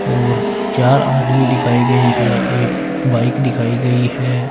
और चार आदमी दिखाए गए हैं एक बाइक दिखाई गई है।